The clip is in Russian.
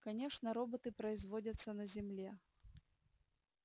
конечно роботы производятся на земле